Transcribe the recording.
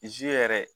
yɛrɛ